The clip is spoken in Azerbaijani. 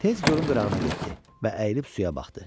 Tez gölün qırağına getdi və əyilib suya baxdı.